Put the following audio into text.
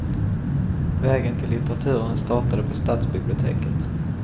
Vägen till litteraturen startade på stadsbiblioteket.